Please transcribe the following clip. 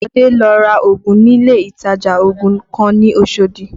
Bode lọ ra ògùn nílé ìtajà ògùn kan ní Oshodi